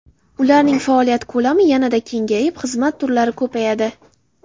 Ularning faoliyat ko‘lami yanada kengayib, xizmat turlari ko‘payadi.